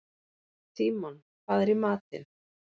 Tímon, hvað er í matinn?